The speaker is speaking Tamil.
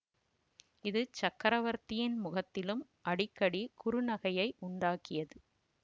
இது சக்கரவர்த்தியின் முகத்திலும் அடிக்கடி குறுநகையை உண்டாக்கியது